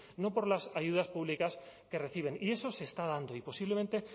no por las ayudas públicas que reciben y eso se está dando y posiblemente